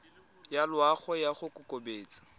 ya loago ya go kokobatsa